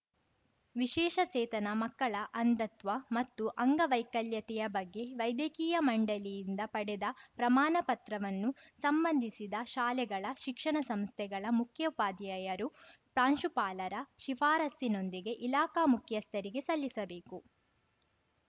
ವಿಶೇಷ ಚೇತನ ಮಕ್ಕಳ ಅಂಧತ್ವ ಮತ್ತು ಅಂಗವೈಕಲ್ಯತೆಯ ಬಗ್ಗೆ ವೈದ್ಯಕೀಯ ಮಂಡಳಿಯಿಂದ ಪಡೆದ ಪ್ರಮಾಣ ಪತ್ರವನ್ನು ಸಂಬಂಧಿಸಿದ ಶಾಲೆಗಳ ಶಿಕ್ಷಣ ಸಂಸ್ಥೆಗಳ ಮುಖ್ಯೋಪಾಧ್ಯಾಯರು ಪ್ರಾಂಶುಪಾಲರ ಶಿಫಾರಸಿನೊಂದಿಗೆ ಇಲಾಖಾ ಮುಖ್ಯಸ್ಥರಿಗೆ ಸಲ್ಲಿಸಬೇಕು